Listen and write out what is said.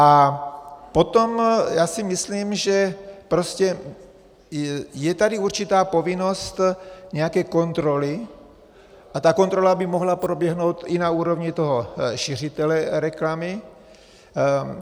A potom, já si myslím, že prostě je tady určitá povinnost nějaké kontroly a ta kontrola by mohla proběhnout i na úrovni toho šiřitele reklamy.